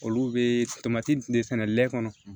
Olu bɛ tomati de sɛnɛ lɛ kɔnɔ